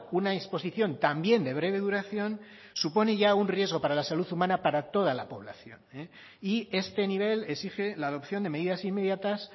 una exposición también de breve duración supone ya un riesgo para la salud humana para toda la población y este nivel exige la adopción de medidas inmediatas